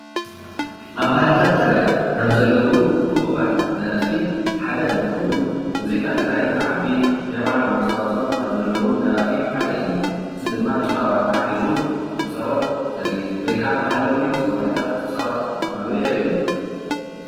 ኣብ ባህልታት ትግራይ ካብ ዘለዉ ሁቡባት ደረፍቲ ሓደ እንትከውን ሙዚቃ ትግራይ ንክዓቢ ናይ ባዕሎም ኣስተዋፅኦ ካብ ዘለዎም ደረፈቲ ሓደ እዩ፡፡ እዚ ድማ ጭራዋጣ ሒዙ እንትፃወት ዘርኢ ወይ ከዓ ባህላዊ ብምፅዋቱ ብምኳኑ የርእየና፡፡